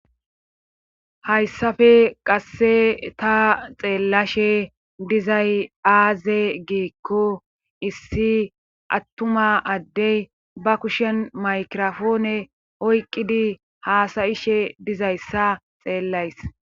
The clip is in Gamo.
hayssafe qass ta xeellashe dizay aaze giikko issi attuma addey ba kushen maykirofoone oyqqidi haasayishe dizayssa xeellays